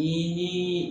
Ni